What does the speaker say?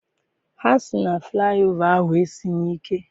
Ha sị na flaị ova ahụ esighị ike.